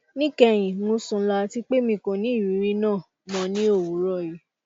ni kehin mo sun lo ati pe mi ko ni iriri naa mọ ni owurọ yii